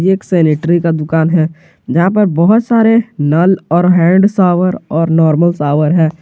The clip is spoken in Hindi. एक सैनिटरी का दुकान है जहां पर बहुत सारे नल और हैंड शावर और नॉर्मल शॉवर हैं।